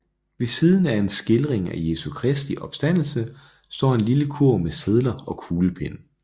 Ved siden af en skildring af Jesu Kristi opstandelse står en lille kurv med sedler og kuglepenne